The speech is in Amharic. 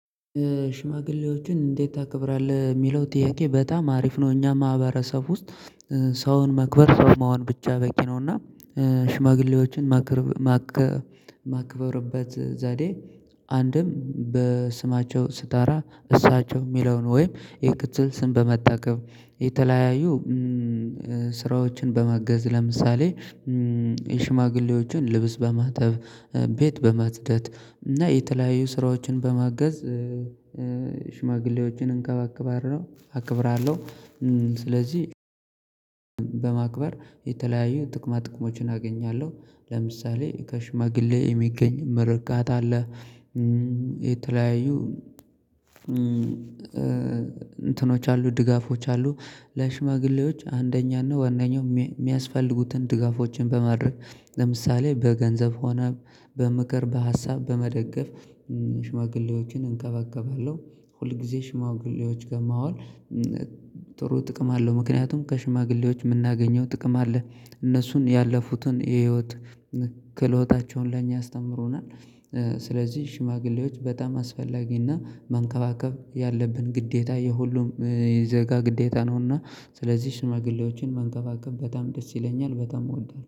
ሽማግሌዎችን እንዴት ታከብራለህ የሚለው ጥያቄ በጣም አሪፍ ነው። እኛ ማህበረሰብ ውስጥ ሰውን መክበር ሰው መሆን ብቻ በቂ ነው እና። ሽማግሌዎችን። ማክበርበት ዛዴ። አንድም በስማቸው ስታራ እሳቸው የሚለውን ወይም የቅጥል ስም በመጠቀም የተለያዩ ስራዎችን በማገዝ ለምሳሌ የሽማግሌዎችን ልብስ በማጠብ ቤት በማትደት እና የተለያዩ ስራዎችን በማገዝ። እንከባከባለው አክብራለሁ። ስለዚህ በማክበር የተለያየ ጥቅማ ጥቅሞችን አገኛለሁ ለምሳሌ ከሽማግሌ የሚገኝ ምርቃት አለ። የተለያዩ እንትኖች አሉ ድጋፎች አሉ። ለሽማግሌዎች አንደኛን ነው ዋናው የሚያስፈልጉትን ድጋፎችን በማድረግ ለምሳሌ በገንዘብ ሆነ በምክር በሀሳብ በመደገፍ ሽማግሌዎችን እንከበከባለሁ። ሁል ጊዜ ሽማግሌዎች መዋል ጥሩ ጥቅም አለው። ምክንያቱም ከሽማግሌዎች የምናገኘው ጥቅም አለ። እነሱን ያለፉትን የህይወት ክህሎታቸውን ለእኛ አስተምሮናል። ስለዚህ ሽማግሌዎች በጣም አስፈላጊና መንከባከብ ያለብን ግዴታ የሁሉም የዘጋ ግዴታ ነውና። ስለዚህ ሽማግሌዎችን መንከባከብ በጣም ደስ ይለኛል በጣም እወዳለሁ